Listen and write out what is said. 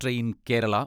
train Kerala